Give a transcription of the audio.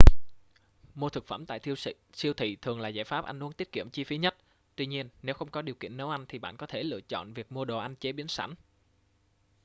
mua thực phẩm tại siêu thị thường là giải pháp ăn uống tiết kiệm chi phí nhất tuy nhiên nếu không có điều kiện nấu ăn thì bạn có thể lựa chọn việc mua đồ ăn chế biến sẵn